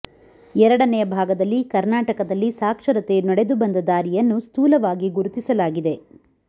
ಎರಡನೆಯ ಭಾಗದಲ್ಲಿ ಕರ್ನಾಟಕದಲ್ಲಿ ಸಾಕ್ಷರತೆಯು ನಡೆದು ಬಂದ ದಾರಿಯನ್ನು ಸ್ಥೂಲವಾಗಿ ಗುರುತಿಸಲಾಗಿದೆ